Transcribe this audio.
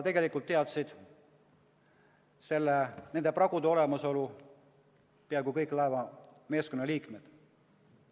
Tegelikult teadsid nende pragude olemasolust peaaegu kõik laevameeskonna liikmed.